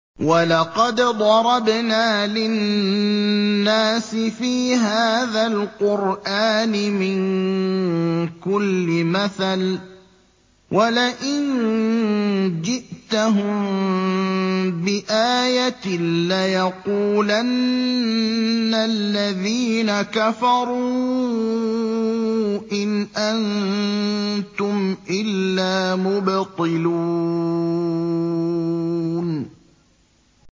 وَلَقَدْ ضَرَبْنَا لِلنَّاسِ فِي هَٰذَا الْقُرْآنِ مِن كُلِّ مَثَلٍ ۚ وَلَئِن جِئْتَهُم بِآيَةٍ لَّيَقُولَنَّ الَّذِينَ كَفَرُوا إِنْ أَنتُمْ إِلَّا مُبْطِلُونَ